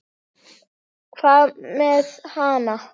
Hvað með hana?